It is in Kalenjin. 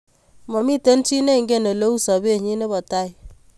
Mami chi neingen ole u sopennyi ne po tai